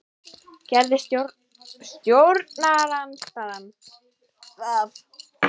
Gerði stjórnarandstaðan það?